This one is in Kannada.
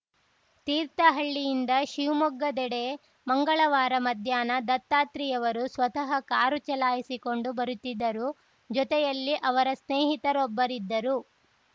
ತೀರ್ಥಹಳ್ಳಿಯಿಂದ ಶಿವಮೊಗ್ಗದೆಡೆ ಮಂಗಳವಾರ ಮಧ್ಯಾಹ್ನ ದತ್ತಾತ್ರಿಯವರು ಸ್ವತಃ ಕಾರು ಚಲಾಯಿಸಿಕೊಂಡು ಬರುತ್ತಿದ್ದರು ಜೊತೆಯಲ್ಲಿ ಅವರ ಸ್ನೇಹಿತರೊಬ್ಬರಿದ್ದರು